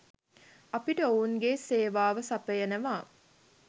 අපිට ඔවුන්ගේ සේවාව සපයනවා